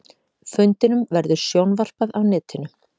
Fundinum verður sjónvarpað á netinu